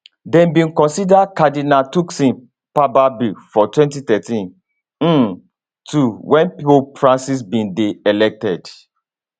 dem bin consider cardinal turkson papabile for 2013 um too wen pope francis bin dey elected